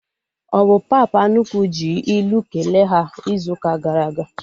Ọ bụ papa nnukwu ji ilu kelee ha izu ụka gara aga?